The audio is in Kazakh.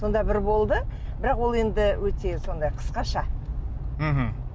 сонда бір болды бірақ ол енді өте сондай қысқаша мхм